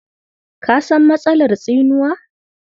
Ka san matsalar tsinuwa?